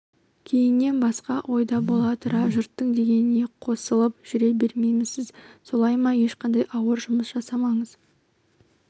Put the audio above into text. кейіннен басқа ойда бола тұра жұрттың дегеніне қосылып жүре беремісіз солай ма ешқандай ауыр жұмыс жасамасаңыз